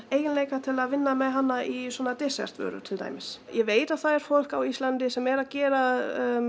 eiginleika til að vinna með hana í svona desertvörur til dæmis ég veit að það er fólk á Íslandi sem er að gera